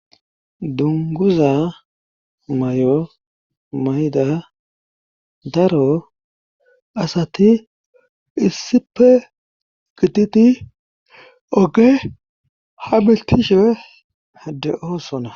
Dunguza may7o mayda daro asati issipe gititi oge ha miltishepe de7oosona.